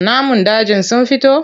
Namun dajin sun fito?